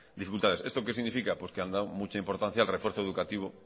dificultades esto que significa pues que han dado mucha importancia al refuerzo educativo